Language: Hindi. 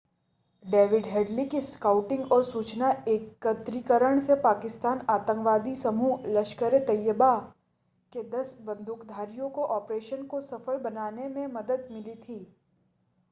डेविड हेडली की स्काउटिंग और सूचना एकत्रीकरण से पाकिस्तानी आतंकवादी समूह लश्कर-ए-तैयबा के 10 बंदूकधारियों को ऑपरेशन को सफल बनाने में मदद मिली थी